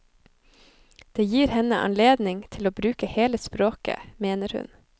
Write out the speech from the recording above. Det gir henne anledning til å bruke hele språket, mener hun.